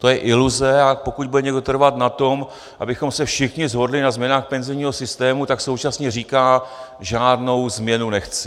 To je iluze, a pokud bude někdo trvat na tom, abychom se všichni shodli na změnách penzijního systému, tak současně říká: žádnou změnu nechci.